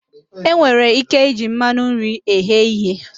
E nwere ike iji mmanụ nri eghe ihe